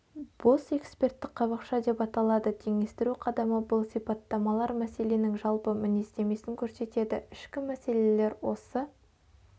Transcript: бос эксперттік қабықша деп аталады теңестіру қадамы бұл сипаттамалар мәселенің жалпы мінездемесін көрсетеді ішкі мәселелер осы